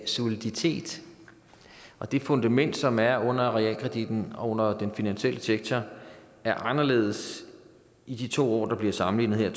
soliditet og det fundament som er under realkreditten og den finansielle sektor er anderledes i de to år der bliver sammenlignet her